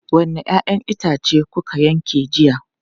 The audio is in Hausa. Wanne 'ya'yan itace kuka yanke jiya?